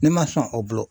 Ne ma sɔn o bolo